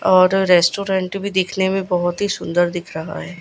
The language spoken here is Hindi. और रेस्टोरेंट भी दिखने मे बहोत ही सुंदर दिख रहा है।